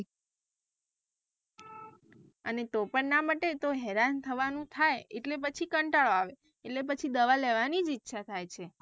અને તો પણ ના મટે તો હેરાન થવાનું થાય એટલે પછી કંટાળું આવે એટલે પછી દવા લેવાની જ ઇચ્છા થાય છે.